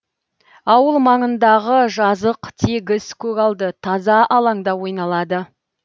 ауыл маңындағы жазық тегіс көгалды таза алаңда ойналады